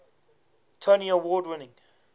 tony award winning